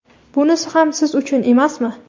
bunisi ham siz uchun emasmi?.